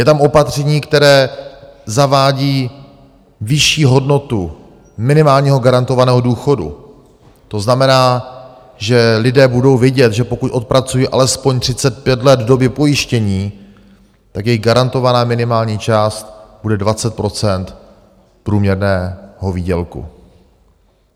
Je tam opatření, které zavádí vyšší hodnotu minimálního garantovaného důchodu, to znamená, že lidé budou vědět, že pokud odpracují alespoň 35 let v době pojištění, tak jejich garantovaná minimální část bude 20 % průměrného výdělku.